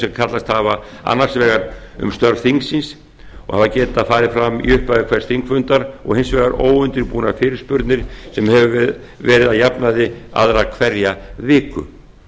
sem kallast hafa annars vegar um störf þingsins og hafa getað farið fram í upphafi hvers þingfundar og hins vegar óundirbúnar fyrirspurnir sem hafa verið að jafnaði aðra hverja viku